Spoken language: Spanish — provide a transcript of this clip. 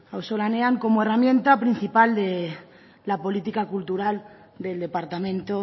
auzolanean como herramienta principal de la política cultural del departamento